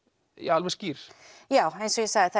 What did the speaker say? alveg skýr já eins og ég sagði þá